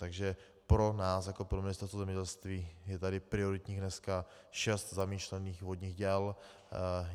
Takže pro nás jako pro Ministerstvo zemědělství je tady prioritní dneska šest zamýšlených vodních děl.